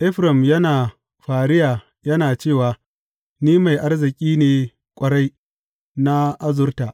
Efraim yana fariya yana cewa, Ni mai arziki ne ƙwarai; na azurta.